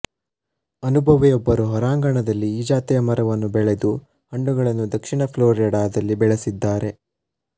ಅನುಭವಿ ಒಬ್ಬರು ಹೊರಾಂಗಣದಲ್ಲಿ ಈ ಜಾತಿಯ ಮರವನ್ನು ಬೆಳೆದು ಹಣ್ಣುಗಳನ್ನು ದಕ್ಷಿಣ ಫ಼್ಲೊರಿಡಾದಲ್ಲಿ ಬೆಳೆಸಿದ್ದಾರೆ